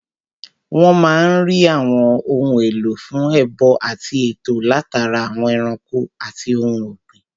Wọ́n máa n rí àwọn ohun èlò fún ẹbọ àti ètò látara àwọn ẹranko àti ohun ògbìn